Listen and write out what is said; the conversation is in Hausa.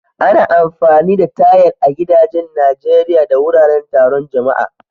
Ana amfani da tayal a gidajen Najeriya da wuraren taron jama'a.